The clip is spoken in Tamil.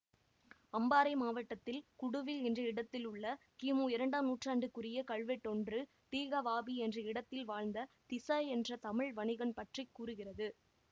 அம்பாறை மாவட்டத்தில் குடுவில் என்ற இடத்திலுள்ள கிமு இரண்டாம் நூற்றாண்டுக்குரிய கல்வெட்டொன்று தீகவாபி என்ற இடத்தில் வாழ்ந்த திஸ என்ற தமிழ் வணிகன் பற்றி கூறுகிறது